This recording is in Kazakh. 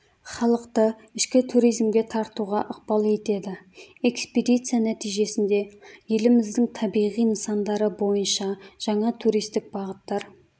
халықты ішкі туризмге тартуға ықпал етеді экспедиция нәтижесінде еліміздің табиғи нысандары бойынша жаңа туристік бағыттар